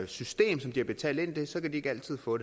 system som de har betalt ind så kan de ikke altid få